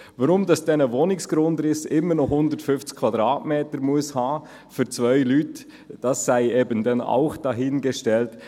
Weshalb dann ein Wohnungsgrundriss für zwei Personen immer noch 150 Quadratmeter haben muss, sei dann eben auch dahingestellt.